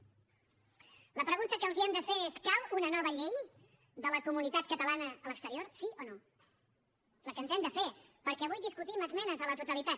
la pregunta que els hem de fer és cal una nova llei de la comunitat catalana a l’exterior sí o no la que ens hem de fer perquè avui discutim esmenes a la totalitat